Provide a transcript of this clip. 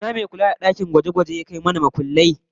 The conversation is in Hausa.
Ina me kula da dakin gwaje-gwaje ya kawo mana mabudai?